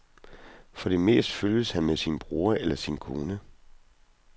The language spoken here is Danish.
For det meste følges han med sin bror eller sin kone.